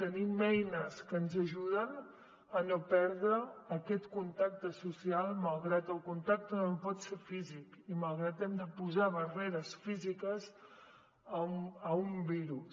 tenim eines que ens ajuden a no perdre aquest contacte social malgrat que el contacte no pot ser físic i malgrat que hem de posar barreres físiques a un virus